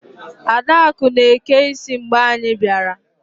Adakụ na-eke isi mgbe anyị bịara.